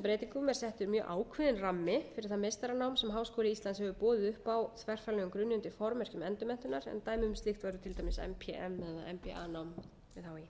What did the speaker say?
settur mjög ákveðinn rammi fyrir það meistaranám sem háskóli íslands hefur boðið upp á á þverfaglegum grunni undir formerkjum endurmenntunar en dæmi um slíkt væri til dæmis mpm eða mba nám við hí